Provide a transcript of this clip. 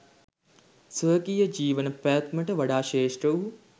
ස්වකීය ජීවන පැවැත්මට වඩා ශ්‍රේෂ්ඨ වූ